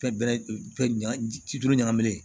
Fɛn bɛrɛ fɛn duuru ɲagaminen